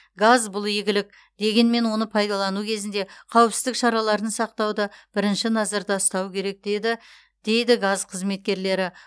газ бұл игілік дегенмен оны пайдалану кезінде қауіпсіздік шараларын сақтауды бірінші назарда ұстау керек деді дейді газ қызметкерлері